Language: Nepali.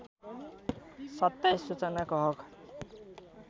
२७ सूचनाको हक